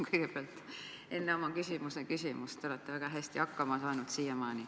Kõigepealt ütlengi, et te olete siiamaani väga hästi hakkama saanud.